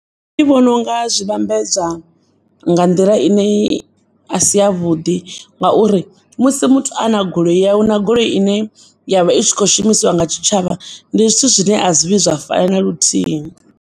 Ndi vhononga zwivhambedzwa nga nḓila ine i a si ya vhuḓi ngauri, musi muthu ana goloi yawe na goloi ine yavha itshi kho u shumiswa nga tshitshavha, ndi zwithu zwine a zwi vhuyi zwa fana na luthihi.